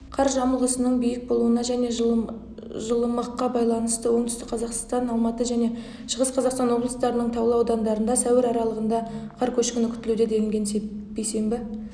қар жамылғысының биік болуына және жылымыққа байланыстыоңтүстік-қазақстан алматы және шығыс-қазақстан облыстарының таулы аудандарында сәуір аралығында қар көшкіні қүтілуде делінген бейсенбі